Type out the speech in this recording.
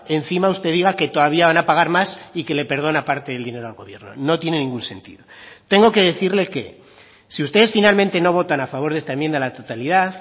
encima usted diga que todavía van a pagar más y que le perdona parte del dinero al gobierno no tiene ningún sentido tengo que decirle que si ustedes finalmente no votan a favor de esta enmienda a la totalidad